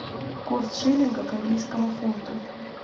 курс шиллинга к английскому фунту